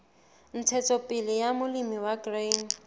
ntshetsopele ya molemi wa grain